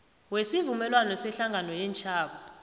wesivumelwano sehlangano yeentjhaba